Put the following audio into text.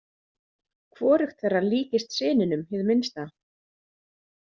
Hvorugt þeirra líktist syninum hið minnsta.